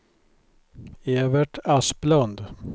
Evert Asplund